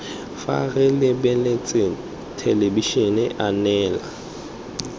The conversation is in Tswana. fa re lebeletse thelebišene anela